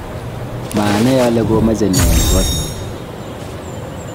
maanai ale komeche ne eng; koot nyin